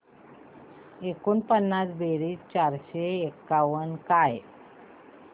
एकोणपन्नास बेरीज चारशे एकावन्न काय